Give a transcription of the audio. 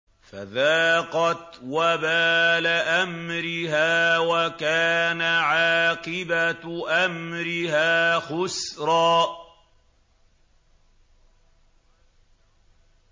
فَذَاقَتْ وَبَالَ أَمْرِهَا وَكَانَ عَاقِبَةُ أَمْرِهَا خُسْرًا